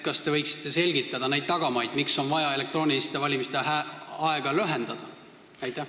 Kas te võiksite selgitada neid tagamaid, miks on vaja elektroonilise valimise aega lühendada?